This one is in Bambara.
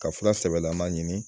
Ka fura sɛbɛlama ɲini.